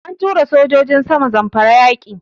An tura sojojin sama Zamfara yaƙi.